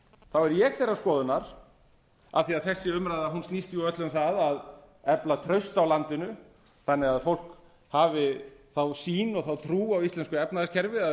þá er ég þeirrar skoðunar af því að þessi umræða snýst öll um það að efla traust á landinu þannig að fólk hafi þá sýn og þá trú á íslensku efnahagskerfi að